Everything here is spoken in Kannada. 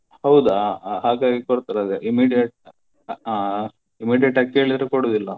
ಹೌದಾ ಹ ಹಾಗಾಗಿ ಕೊಡ್ತಾರೆ ಅದೇ immediate ಆ immediate ಆಗಿ ಕೇಳಿದ್ರೆ ಕೊಡುದಿಲ್ಲ.